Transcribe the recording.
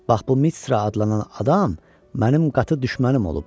Bax bu Mıtsra adlanan adam mənim qatı düşmənim olub.